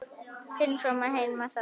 Þinn sonur Heimir Þór.